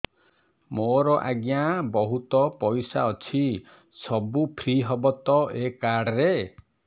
ମୋର ଆଜ୍ଞା ବହୁତ ପଇସା ଅଛି ସବୁ ଫ୍ରି ହବ ତ ଏ କାର୍ଡ ରେ